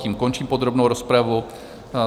Tím končím podrobnou rozpravu.